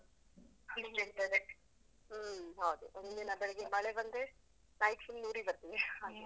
ಹ್ಮ್ ಹೌದು ಒಂದಿನ ಬೆಳಿಗ್ಗೆ ಮಳೆಬಂದ್ರೆ night full ಉರಿಬರ್ತದೆ ಹಾಗೆ.